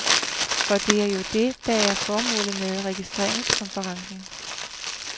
For det er jo det, der er formålet med regeringskonferencen.